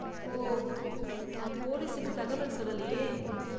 ஓ, நான் போலீசுக்கு தகவல் சொல்லலயே.